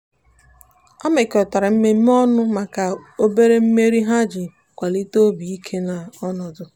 ha mekọrịtara mmemme ọnụ maka obere mmeri ha iji kwalite obi ike na ọnọdụ.